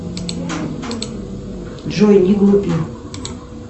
джой не глупи